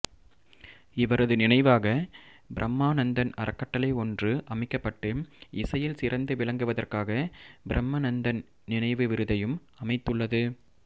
இவரது நினைவாக பிரம்மானந்தன் அறக்கட்டளை ஒன்று அமைக்கப்பட்டு இசையில் சிறந்து விளங்குவதற்காக பிரம்மநந்தன் நினைவு விருதையும் அமைத்துள்ளது